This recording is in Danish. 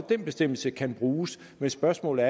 den bestemmelse kan bruges men spørgsmålet